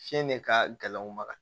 Fiɲɛ de ka gɛlɛn u ma